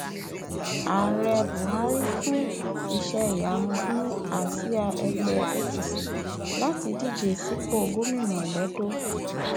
ààrẹ buhari fún iṣẹìyamú ní àsíá ẹgbẹ [ apc láti díje sípò gómìnà lẹdọ